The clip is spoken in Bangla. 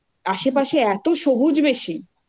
আশেপাশে এতো সবুজ বেশি